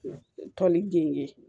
Tɔnni gengen